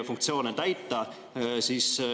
... funktsioone täita.